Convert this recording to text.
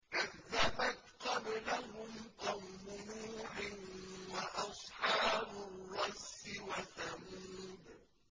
كَذَّبَتْ قَبْلَهُمْ قَوْمُ نُوحٍ وَأَصْحَابُ الرَّسِّ وَثَمُودُ